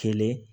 Kelen